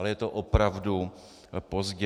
Ale je to opravdu pozdě.